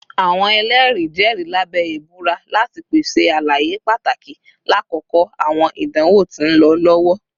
Awọn ẹlẹri jẹri labẹ ibura lati pese alaye pataki lakoko awọn idanwo ti nlọ lọwọ